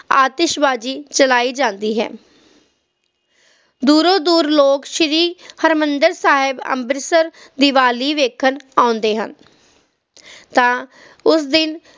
ਆਤਿਸ਼ਬਾਜ਼ੀ ਚਲਾਈ ਜਾਂਦੀ ਹੈ ਦੂਰੋਂ ਦੂਰ ਲੋਕ ਸ਼ੀਰੀ ਹਾਰਮਿੰਦੇ ਸਾਹਿਬ ਅੰਮ੍ਰਿਤਸਰ ਦੀਵਾਲੀ ਵੇਖਣ ਆਉਂਦੇ ਹਨ ਤਾ ਉਸ ਦਿਨ